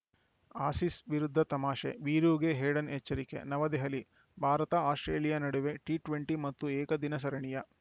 Aussies ವಿರುದ್ಧ ತಮಾಷೆ ವೀರೂಗೆ ಹೇಡನ್‌ ಎಚ್ಚರಿಕೆ ನವದೆಹಲಿ ಭಾರತಆಸ್ಪ್ರೇಲಿಯಾ ನಡುವಿನ ಟಿ ಟ್ವೆಂಟಿ ಮತ್ತು ಏಕದಿನ ಸರಣಿಯ